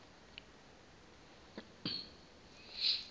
wayibhaqa le nto